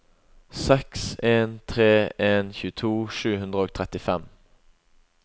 seks en tre en tjueto sju hundre og trettifem